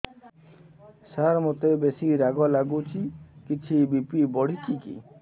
ସାର ମୋତେ ବେସି ରାଗ ଲାଗୁଚି କିଛି ବି.ପି ବଢ଼ିଚି କି